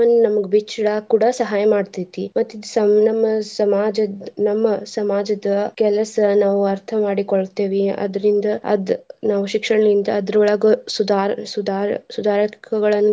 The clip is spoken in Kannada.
ನಮ್ಗ್ ಬಿಚ್ಚಿ ಈಡಾಕ್ ಕೂಡಾ ಸಹಾಯ ಮಾಡ್ತೇತಿ. ಮತ್ತ್ ಇದ್ ಸಮ್ ನಮ್ಮ ಸಮಾಜದ್ ನಮ್ಮ ಸಮಾಜದ ಕೆಲಸ ನಾವ್ ಅರ್ಥ ಮಾಡಿಕೊಳ್ತೇವಿ. ಅದ್ರಿಂದ ಅದ್ ನಾವ್ ಶಿಕ್ಷಣದಿಂದ ಅದ್ರೋಳಗ ಸುಧಾರ~ಸುಧಾರ~ಸುಧಾರಕಗಳನ್ನ.